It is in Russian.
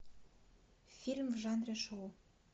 фильм в жанре шоу